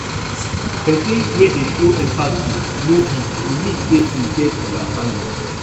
pesin wey dey show empathy no weak e mean sey em get understanding